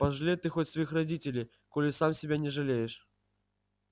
пожалей ты хоть своих родителей коли сам себя не жалеешь